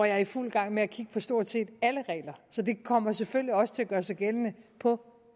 er i fuld gang med at kigge på stort set alle regler så det kommer selvfølgelig også til at gøre sig gældende på